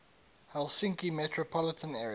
helsinki metropolitan area